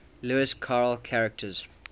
lewis carroll characters